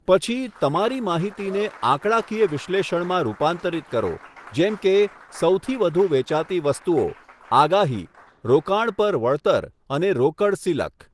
પછી, તમારી માહિતીને આંકડાકીય વિશ્લેષણમાં રૂપાંતરિત કરો, જેમ કે સૌથી વધુ વેચાતી વસ્તુઓ, આગાહી, રોકાણ પર વળતર અને રોકડ સિલક.